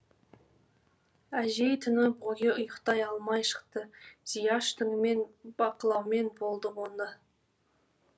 әжей түні бойы ұйықтай алмай шықты зияш түнімен бақылаумен болды оны